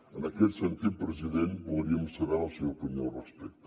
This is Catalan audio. en aquest sentit president voldríem saber la seva opinió al respecte